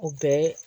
O bɛɛ